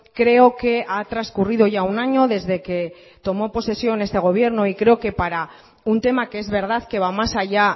creo que ha transcurrido ya un año desde que tomó posesión este gobierno y creo que para un tema que es verdad que va más allá